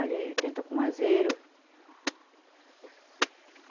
Ali tem tucumazeiro.